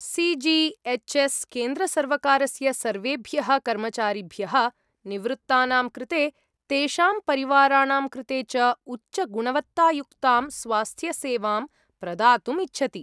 C G H S केन्द्रसर्वकारस्य सर्वेभ्यः कर्मचारिभ्यः, निवृत्तानां कृते, तेषां परिवाराणां कृते च उच्चगुणवत्तायुक्तां स्वास्थ्यसेवां प्रदातुम् इच्छति।